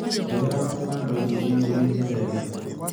Njohera avocando ici ciĩruhĩte wega.